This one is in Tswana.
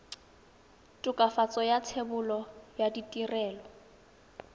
tokafatso ya thebolo ya ditirelo